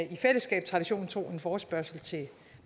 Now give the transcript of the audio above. i fællesskab traditionen tro en forespørgsel til